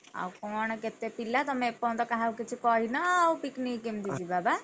ଆଉ କଣ କେତେ ପିଲା ତମେ ଏପର୍ଯ୍ୟନ୍ତ କାହାକୁ କିଛି କହିନ ଆଉ picnic କେମିତି ଯିବା ବା?